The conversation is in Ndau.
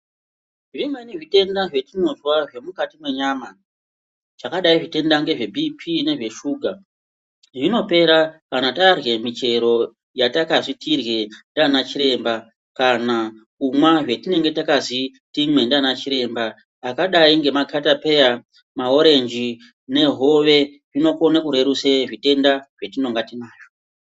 Zvimeni zvitenda zvatinozwa zvemukati mwenyama zvakadai zvitenda ngezvebhipi ngezveshuga. Zvinopera kana tarye muchero yatakazi tirye ndiana chiremba. Kana kumwa zvatinenge takazi timwe ndiana chiremba akadai nemakatapeya maorenji nehove zvinokone kurerutse zvitenda zvatinonga tinazvo.